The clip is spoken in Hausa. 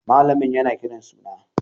Malamin yana kiran suna.